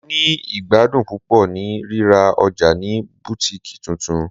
Mo ni igbadun pupọ ni rira ọja ni Butikii tuntun